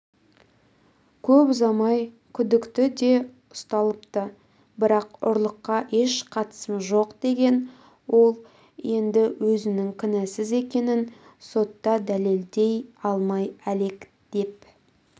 көп ұзамай күдікті де ұсталыпты бірақ ұрлыққа еш қатысым жоқ деген ол енді өзінің кінәсіз екенін сотта дәлелдей алмай әлек деп